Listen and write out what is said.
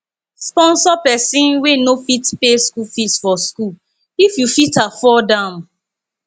sponsor persin wey no fit pay school fees for school if you fit afford am